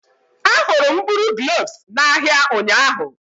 Ahụrụ m mkpụrụ gloves n'ahịa ụnyaahụ